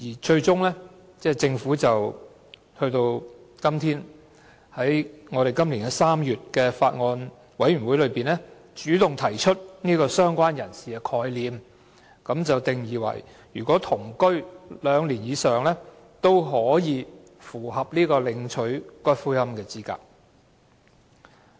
最終，政府於今年3月的法案委員會會議上，主動提出"相關人士"的概念，介定與死者同居兩年或以上的人，也符合領取死者骨灰的資格。